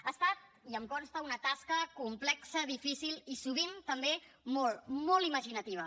ha estat i em consta una tasca complexa difícil i sovint també molt molt imaginativa